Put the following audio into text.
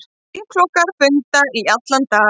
Þingflokkar funda í allan dag